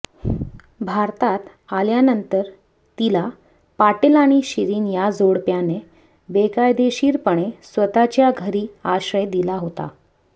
भारतात आल्यानंतर तीला पाटील आणि शिरीन या जोडप्याने बेकायदेशीरपणे स्वतःच्या घरी आश्रय दिला होता